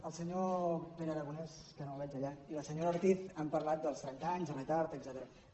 el senyor pere aragonès que no el veig allà i la senyora ortiz han parlat dels trenta anys de retard etcètera